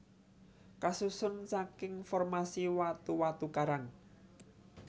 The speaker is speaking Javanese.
Kasusun saking formasi watu watu karang